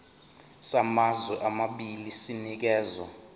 samazwe amabili sinikezwa